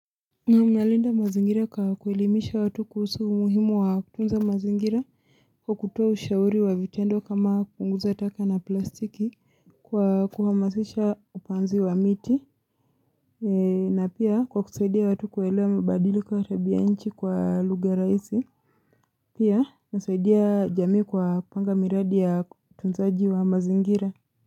Na mnalinda mazingira kwa kuelimisha watu kuhusu muhimu wa kutunza mazingira kwa kutuwa ushauri wa vitendo kama kunguza taka na plastiki Kwa kuhamasisha upanzi wa miti na pia kwa kusaidia watu kuelewa mbadili kwa tabianchi kwa luga raisi Pia nasaidia jamii kwa kupanga miradi ya tunzaji wa mazingira.